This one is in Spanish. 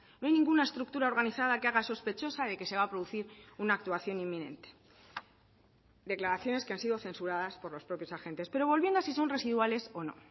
no hay ninguna estructura organizada que haga sospechosa de que se va a producir una actuación inminente declaraciones que han sido censuradas por los propios agentes pero volviendo a si son residuales o no